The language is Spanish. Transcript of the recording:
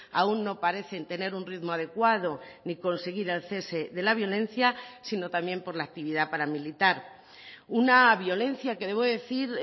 aún no parecen tener un ritmo adecuado ni conseguir el cese de la violencia sino también por la actividad paramilitar una violencia que debo decir